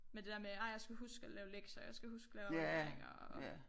Med det der med ej jeg skal huske at lave lektier jeg skal huske at lave afleveringer og